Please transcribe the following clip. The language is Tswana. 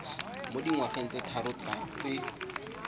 mo dingwageng tse tharo tse